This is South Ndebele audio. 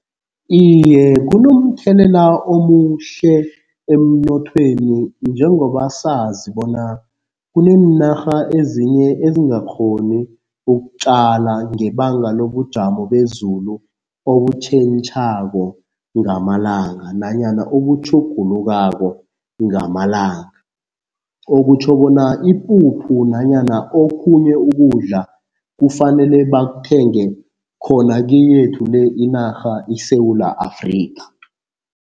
Iye kunomthelela omuhle emnothweni njengoba sazi bona kuneenarha ezinye ezingakghoni ukutjala ngebanga lobujamo bezulu obutjhentjhako ngamalanga nanyana obutjhugulukako ngamalanga. Okutjho bona ipuphu nanyana okhunye ukudla kufanele bakuthenge khona keyethu le inarha iSewula Afrika.